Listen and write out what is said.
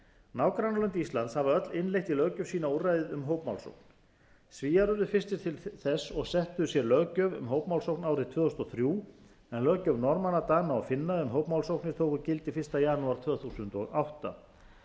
nágrannalönd íslands hafa öll innleitt í löggjöf sína úrræðið um hópmálsókn svíar urðu fyrstir til þess og settu sér löggjöf um hópmálsókn árið tvö þúsund og þrjú en löggjöf norðmanna dana og finna um hópmálsóknir tók gildi fyrsta janúar tvö þúsund og átta